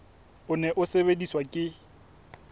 o ne o sebediswa ke